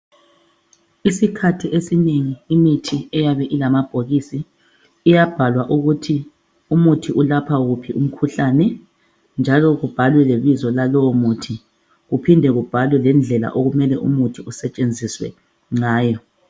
Isikhathi esinengi imithi eyabe ilamabhokisi iyabhalwa ukuthi umuthi ulapha wuphi umkhuhlane njalo ubhalwe ibizo lalowo muthi uphinde ubhalwe lendlela umuthi okumele usetshenziswe ngawo